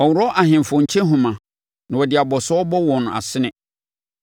Ɔworɔ ahemfo nkyehoma na ɔde abɔsoɔ bɔ wɔn asene.